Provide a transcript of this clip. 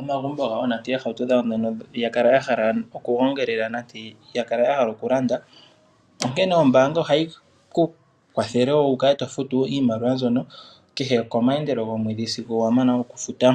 omagumbo gawo noshowo oohauto dhawo dhoka ya kala ya hala okugongelela noya hala oku landa, onkene ombaanga ohayi ku kwathele wo wu kale to futu iimaliwa mbyono kehe kehulilo lyomweedhi sigo wa mana okufuta.